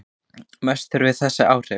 Meta þurfi þessi áhrif.